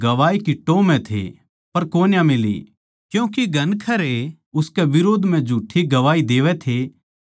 क्यूँके घणखरे उसकै बिरोध म्ह झूठ्ठी गवाही देवै थे पर उनकी गवाही एकसी कोनी थी